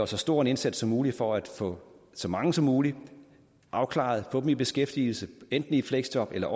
så stor en indsats som muligt for at få så mange som muligt afklaret få dem i beskæftigelse enten i fleksjob eller